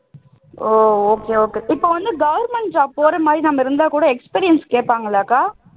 ஓ okay okay இப்போ வந்து government job போற மாதிரி நாம இருந்தாக் கூட experience கேப்பாங்க இல்லக்கா